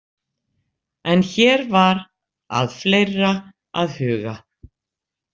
En hér var að fleira að huga.